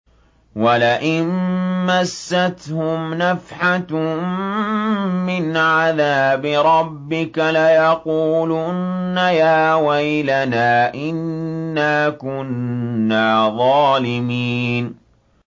وَلَئِن مَّسَّتْهُمْ نَفْحَةٌ مِّنْ عَذَابِ رَبِّكَ لَيَقُولُنَّ يَا وَيْلَنَا إِنَّا كُنَّا ظَالِمِينَ